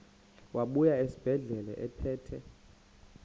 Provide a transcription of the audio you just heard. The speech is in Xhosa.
wabuya esibedlela ephethe